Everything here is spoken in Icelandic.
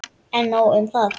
En nóg um það.